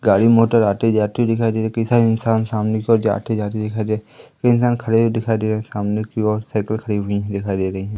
गाड़ी मोटर आती जाती दिखाई दे कई सारे इंसान सामने को आते जाते दिखा दे कई इंसान खड़े हुए दिखाई दे रहे सामने की ओर साइकल खड़ी हुई दिखाई दे रही हैं।